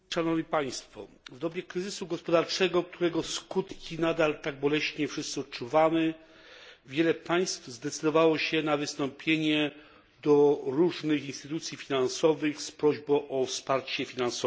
W dobie kryzysu gospodarczego, którego skutki nadal tak boleśnie wszyscy odczuwamy, wiele państw zdecydowało się na wystąpienie do różnych instytucji finansowych z prośbą o wsparcie finansowe.